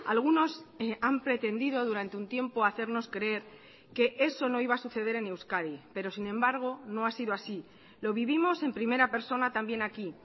algunos han pretendido durante un tiempo hacernos creer que eso no iba a suceder en euskadi pero sin embargo no ha sido así lo vivimos en primera persona también aquí